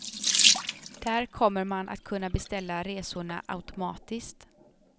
Där kommer man att kunna beställa resorna automatiskt.